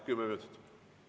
V a h e a e g